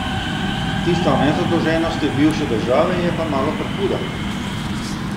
Tista o nezadolženosti bivše države je pa malo prehuda.